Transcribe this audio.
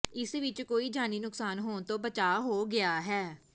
ਇਸ ਵਿਚ ਕੋਈ ਜਾਨੀ ਨੁਕਸਾਨ ਹੋਣ ਤੋਂ ਬਚਾਅ ਹੋ ਗਿਆ ਹੈ